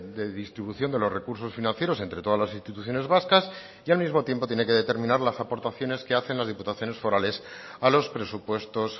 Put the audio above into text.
de distribución de los recursos financieros entre todas las instituciones vascas y al mismo tiempo tiene que determinar las aportaciones que hacen las diputaciones forales a los presupuestos